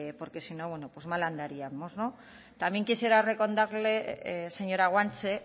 porque si no mal andaríamos también quisiera recordarle señora guanche